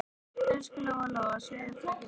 Elsku Lóa-Lóa, segðu bara ekki neitt.